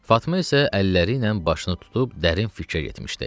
Fatma isə əlləriylə başını tutub dərin fikrə getmişdi.